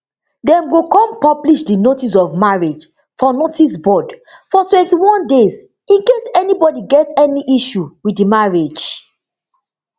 dem go kon publish di notice of marriage for notice board for twentyone days in case anybodi get any issue wit di marriage